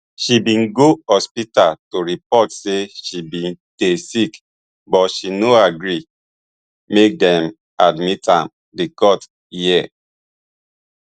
she bin go hospital to report say she bin dey sick but she no gree make dem admit am di court hear